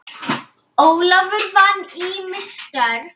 Ólafur vann ýmis störf.